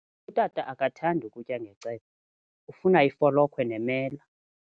Utata akathandi kutya ngecephe, ufuna ifolokhwe nemela.